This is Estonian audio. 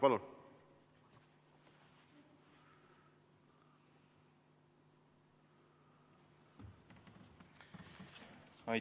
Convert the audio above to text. Palun!